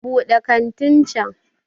Buɗe kantin can!